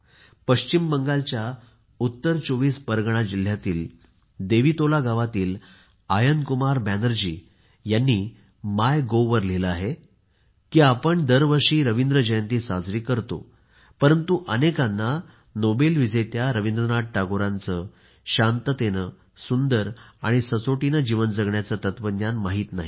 पश्चिम बंगालच्या उत्तर 24 परगणा जिल्ह्यातील देवितोला गावातील आयन कुमार बॅनर्जी यांनी मायगोव्हवर लिहिले आहे की आपण दरवर्षी रवींद्र जयंती साजरी करतो परंतु अनेकांना नोबेल विजेत्या रवींद्रनाथ टागोरांचे शांततेने सुंदर आणि सचोटीने जीवन जगण्याचे तत्त्वज्ञान माहित नाही